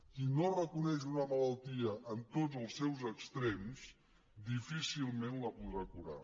qui no reconeix una malaltia en tots els seus extrems difícilment la podrà curar